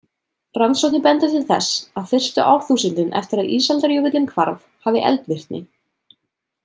Rannsóknir benda til þess að fyrstu árþúsundin eftir að ísaldarjökullinn hvarf hafi eldvirkni.